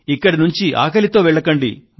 ఇక్కడి నుండి ఆకలితో వెళ్ళకండి